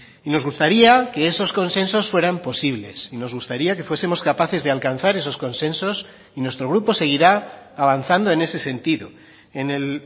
y nos gustaría que esos consensos fueran posibles y nos gustaría que fuesemos capaces de alcanzar esos consensos y nuestro grupo seguirá avanzando en ese sentido en el